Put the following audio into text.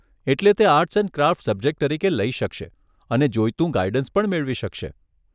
એટલે તે arts and craft subject તરીકે લઈ શકશે અને જોઈતું ગાઈડન્સ પણ મેળવી શકશે.